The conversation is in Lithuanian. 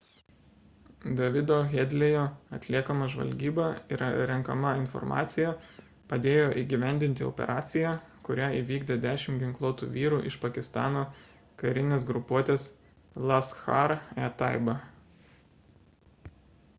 davido headley'o atliekama žvalgyba ir renkama informacija padėjo įgyvendinti operaciją kurią įvykdė 10 ginkluotų vyrų iš pakistano karinės grupuotės laskhar-e-taiba